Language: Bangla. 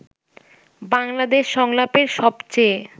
বাংলাদেশ সংলাপের সবচেয়ে